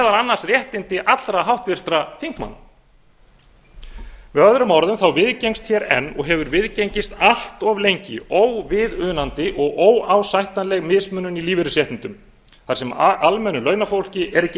annars réttindi allra háttvirtra þingmanna með öðrum orðum viðgengst hér enn og hefur viðgengist allt of lengi óviðunandi og óásættanleg mismunun í lífeyrisréttindum þar sem almennu launafólki er ekki